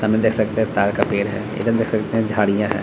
सामने देख सकते है ताड़ का पेड़ है इधर देख सकते है झाड़ियाँ हैं।